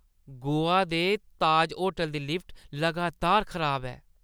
गोवा दे ताज होटलै दी लिफ्ट लगातार खराब ऐ।